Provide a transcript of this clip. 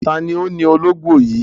Ta ni ó ni ológò yìí?